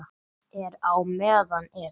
Er á meðan er.